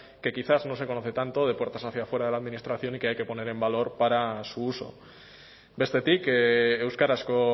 que quizás no se conoce tanto de puertas hacia fuera de la administración y que hay que poner en valor para su uso bestetik euskarazko